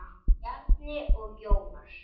Bjarni og Jónas.